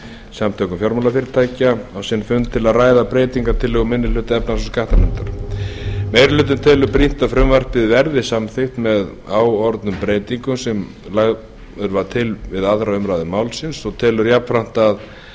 samtökum fjármálafyrirtækja á sinn fund til að ræða breytingartillögu minni hluta efnahags og skattanefndar meiri hlutinn telur brýnt að frumvarpið verði samþykkt með áorðnum breytingum sem hann lagði til við aðra umræðu málsins meiri hlutinn telur það jafnframt